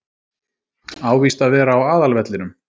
Á víst að vera á aðalvellinum.